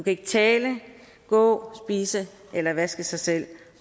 ikke tale gå spise eller vaske sig selv